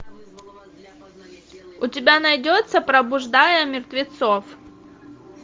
у тебя найдется пробуждая мертвецов